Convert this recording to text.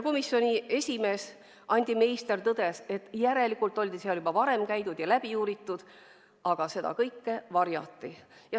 Komisjoni esimees Andi Meister tõdes, et järelikult oli seal juba varem käidud ja kõik läbi uuritud, aga seda kõike varjati.